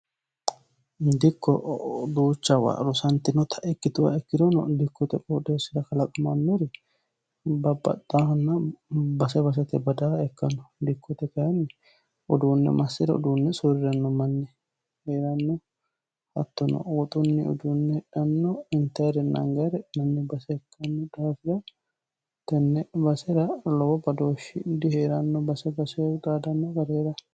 dikko duuchawa rusantinota ikkituwa ikkirono dikkote qoodeessira kalaqmannori babbaxxaahanna base basetenni badaaha ikkanno dikkote kayinni uduunne massira uduunne suuriranno manni heeranno hattono woxunni uduunne hidhano intanirenna anganire hidhinanni base ikkanno daafira tenne basera lowo badooshshi dihee'ranno base basehu xaadanno gari heera chaalanno.